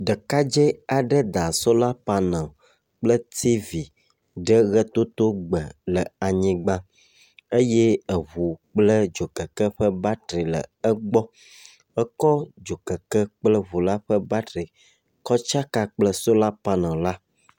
Ɖekadze aɖe da sola panel kple tivi ɖe ʋetotogbe le anyigba eye eŋu kple dzokeke ƒe batri le egbɔ. Ekɔ dzokeke kple ŋu la ƒe batri kɔ tsake kple sola panel la.